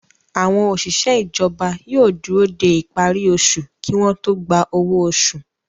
Àwọn òṣìṣẹ́ ìjọba yóò dúró dé ìparí osù kí wọ́n tó gba owó oṣù